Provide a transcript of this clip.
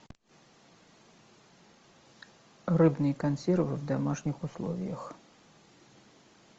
рыбные консервы в домашних условиях